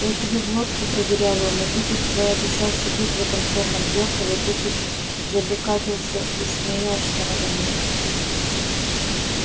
я тебе глотку продырявил но ты тут твоя душа сидит в этом чёрном зеркале ты тут забэкапился и смеёшься надо мной